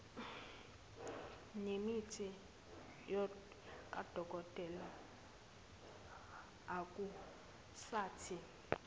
nemithi kadokotela akusathi